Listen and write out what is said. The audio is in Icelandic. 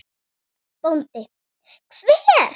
BÓNDI: Hver?